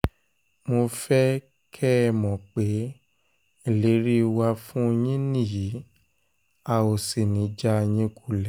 mo fẹ́ kẹ́ ẹ mọ̀ pé ìlérí wa fún yín nìyí a ò sì ní í já yín kulẹ̀